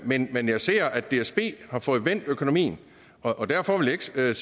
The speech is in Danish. men men jeg ser at dsb har fået vendt økonomien og derfor vil jeg